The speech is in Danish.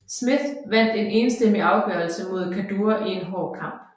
Smith vandt en enstemmig afgørelse mod Kaddour i en hård kamp